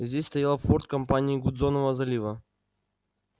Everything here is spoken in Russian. здесь стоял форт компании гудзонова залива